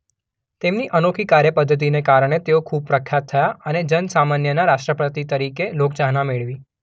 તેમની અનોખી કાર્યપદ્ધતિને કારણે તેઓ ખૂબ પ્રખ્યાત થયા અને જનસામાન્યનાં રાષ્ટ્રપતિ તરીકે લોકચાહના મેળવી.